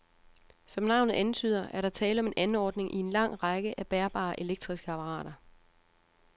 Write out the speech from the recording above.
Som navnet antyder, er der tale om en anordning i en lang række af bærbare elektriske apparater.